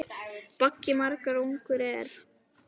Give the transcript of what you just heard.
Baggi margra þungur er.